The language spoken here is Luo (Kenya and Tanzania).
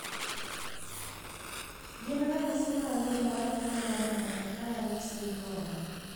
Gin ranyisi mage mar tuo mar Maffucci syndrome?